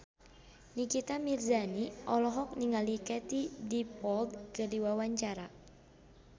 Nikita Mirzani olohok ningali Katie Dippold keur diwawancara